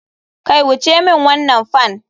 Kai wuce min wannan fan.